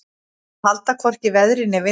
Að halda hvorki veðri né vindi